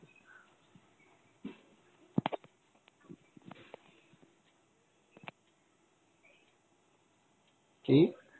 কি?